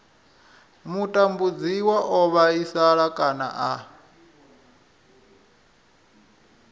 mutambudziwa o vhaisala kana a